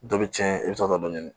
Dɔ bɛ cɛn i bɛ sɔrɔ ka dɔ ɲini